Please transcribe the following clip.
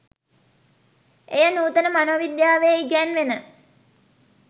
එය නූතන මනෝවිද්‍යාවේ ඉගැන්වෙන